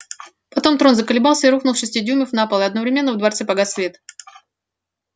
потом трон заколебался и рухнул с шести дюймов на пол и одновременно во дворце погас свет